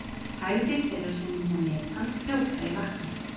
Hægðir þeirra sem mynda metan fljóta í vatni.